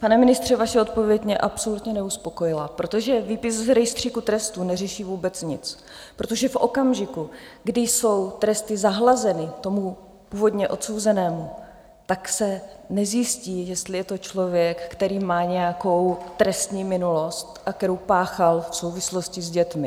Pane ministře, vaše odpověď mě absolutně neuspokojila, protože výpis z rejstříku trestů neřeší vůbec nic, protože v okamžiku, kdy jsou tresty zahlazeny tomu původně odsouzenému, tak se nezjistí, jestli je to člověk, který má nějakou trestní minulost, kterou páchal v souvislosti s dětmi.